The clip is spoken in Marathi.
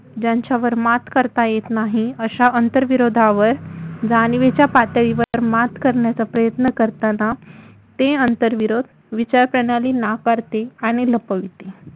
ज्यांच्यावर मात करता येत नाही अशा आंतरविरोधावर जाणीवेच्या पातळीवर मात करण्याचा प्रयत्न करताना ते आंतरविरोध विचारप्रणाली नाकारते आणि लपविते